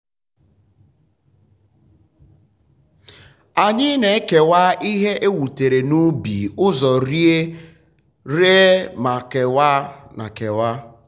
anyị na-ekewa ihe e wutere n'ubi uzo rie ree na kewaa. na kewaa.